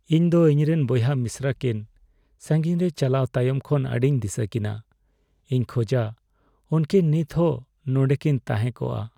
ᱤᱧ ᱫᱚ ᱤᱧᱨᱮᱱ ᱵᱚᱭᱦᱟ ᱢᱤᱥᱨᱟ ᱠᱤᱱ ᱥᱟᱸᱜᱤᱧ ᱨᱮ ᱪᱟᱞᱟᱣ ᱛᱟᱭᱚᱢ ᱠᱷᱚᱱ ᱟᱹᱰᱤᱧ ᱫᱤᱥᱟᱹᱠᱤᱱᱟ ᱾ ᱤᱧ ᱠᱷᱚᱡᱟ ᱩᱝᱠᱤᱱ ᱱᱤᱛ ᱦᱚᱸ ᱱᱚᱸᱰᱮᱠᱤᱱ ᱛᱟᱦᱮᱠᱚᱜᱼᱟ ᱾